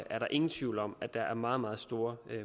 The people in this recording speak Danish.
er der ingen tvivl om at der er meget meget store